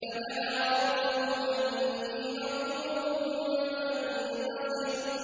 فَدَعَا رَبَّهُ أَنِّي مَغْلُوبٌ فَانتَصِرْ